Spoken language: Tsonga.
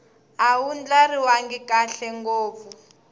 a wu ndlariwangi kahle ngopfu